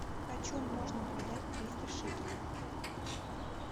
почем можно продать триста шекелей